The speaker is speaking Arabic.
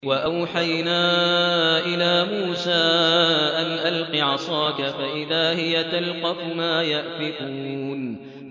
۞ وَأَوْحَيْنَا إِلَىٰ مُوسَىٰ أَنْ أَلْقِ عَصَاكَ ۖ فَإِذَا هِيَ تَلْقَفُ مَا يَأْفِكُونَ